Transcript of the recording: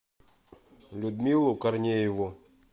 людмилу корнееву